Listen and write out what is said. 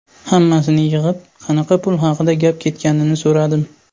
Hammasini yig‘ib, qanaqa pul haqida gap ketganini so‘radim.